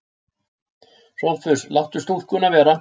SOPHUS: Láttu stúlkuna vera.